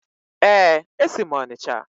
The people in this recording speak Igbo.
Ee, esi m Onicha.